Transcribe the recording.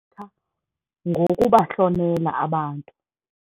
Ngokubahlonela abantu.